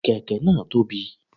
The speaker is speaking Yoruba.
Kèké náà tóbi